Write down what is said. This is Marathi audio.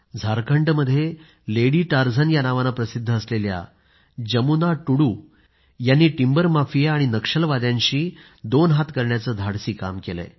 झारखंडमध्ये लेडी टारझन या नावाने प्रसिद्ध असलेल्या जमुना टुडू यांनी टिम्बर माफिया आणि नक्षलवाद्यांशी दोन हात करण्याचं धाडसी काम केलं